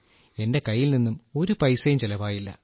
എന്റെ കൈയിൽ നിന്നും ഒരു പൈസയും ചെലവായില്ല